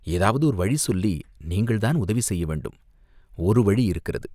ஏதாவது ஒரு வழி சொல்லி நீங்கள்தான் உதவி செய்யவேண்டும்." "ஒரு வழி இருக்கிறது.